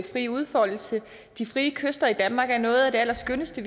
frie udfoldelse de frie kyster i danmark er noget af det allerskønneste